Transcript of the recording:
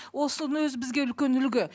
осының өзі бізге үлкен үлгі